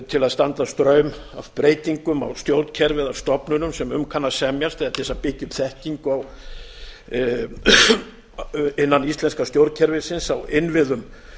til að standa straum af breytingum á stjórnkerfi eða stofnunum sem um kann að semjast eða til að byggja upp þekkingu innan íslenska stjórnkerfisins á innviðum